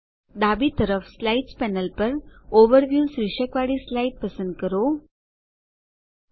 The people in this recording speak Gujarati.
ડાબી તરફ સ્લાઇડ્સ પેનલ પર ઓવરવ્યૂ શીર્ષકવાળી સ્લાઇડ પસંદ કરો વિહંગાવલોકન